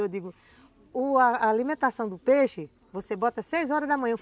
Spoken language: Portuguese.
Eu digo, o a alimentação do peixe, você bota seis horas da manhã.